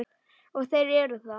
Og þeir eru það.